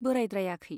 बोरायद्रायाखै।